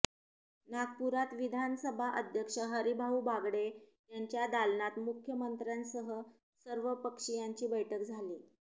नागपुरात विधानसभा अध्यक्ष हरीभाऊ बागडे यांच्या दालनात मुख्यमंत्र्यांसह सर्वपक्षीयांची बैठक झाली